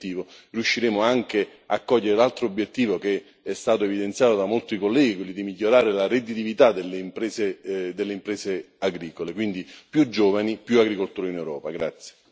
Sono certo che se riusciremo a raggiungere questo obiettivo, riusciremo anche a cogliere l'altro obiettivo che è stato evidenziato da molti colleghi, quello di migliorare la redditività delle imprese agricole.